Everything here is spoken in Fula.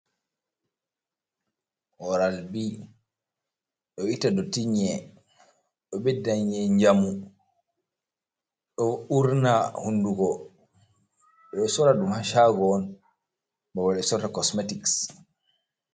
Oral bi ɗo itta ɗotti yin'a. Ɗo beɗɗa yin'a njamu ɗo urna hunɗugo. Bedo soradɗum ha shago on. Bebal be sorrata kosmetics.